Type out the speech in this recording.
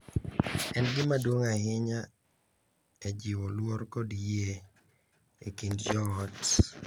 En gima duong’ ahinya e jiwo luor kod yie e kind joot.